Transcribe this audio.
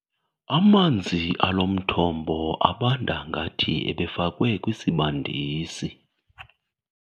Amanzi alo mthombo abanda ngathi ebefakwe kwisibandisi.